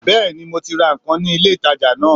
Béèni mo ti ra nkan ní ilé ìtajà náà